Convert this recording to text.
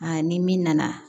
ni min nana